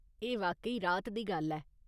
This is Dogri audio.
एह् वाकई राह्त दी गल्ल ऐ।